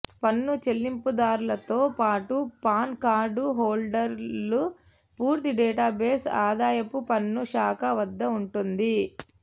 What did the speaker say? పన్ను చెల్లింపుదారులతో పాటు పాన్ కార్డు హోల్డర్ల పూర్తి డేటాబేస్ ఆదాయపు పన్ను శాఖ వద్ద ఉంటుంది